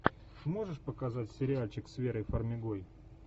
сможешь показать сериальчик с верой фармигой